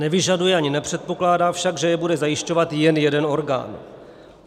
Nevyžaduje ani nepředpokládá však, že je bude zajišťovat jen jeden orgán.